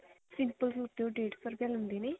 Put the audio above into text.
simple suit ਦਾ ਉਹ ਡੇੜ ਸੋ ਰੁਪਿਆ ਲੈਂਦੇ ਨੇ